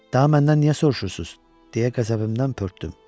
Daha məndən niyə soruşursunuz deyə qəzəbimdən pörtdüm.